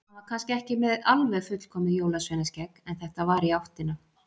Hann var kannski ekki með alveg fullkomið jólsveinaskegg, en þetta var í áttina.